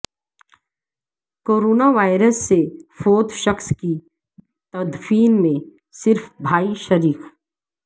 corona virus سے فوت شخص کی تدفین میں صرف بھائی شریک